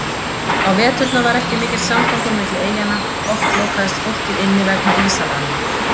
Á veturna var ekki mikill samgangur milli eyjanna, oft lokaðist fólkið inni vegna ísalaga.